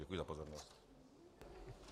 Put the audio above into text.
Děkuji za pozornost.